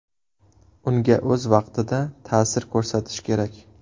Unga o‘z vaqtida ta’sir ko‘rsatish kerak.